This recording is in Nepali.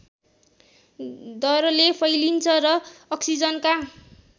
दरले फैलिन्छ र अक्सिजनका